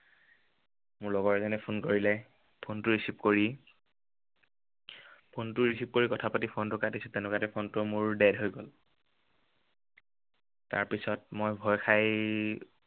মোৰ লগৰ এজনে phone কৰিলে। phone টো receive কৰি phone টো receive কৰি কথা পাতি phone টো কাটিছো, তেনেকুৱাতে phone টো মোৰ dead হৈ গল। তাৰপিছত মই ভয় খাই